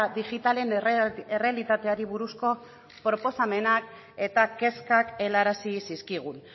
digitalen errealitateari buruzko proposamenak eta kezkak helarazi zizkigun